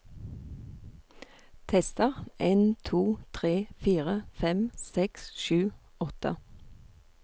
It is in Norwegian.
Tester en to tre fire fem seks sju åtte